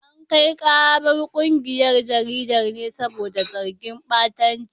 An kai karar kungiyar jaridar ne saboda zargin batanci.